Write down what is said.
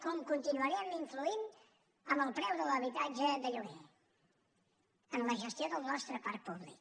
com continuarem influint en el preu de l’habitatge de lloguer en la gestió del nostre parc públic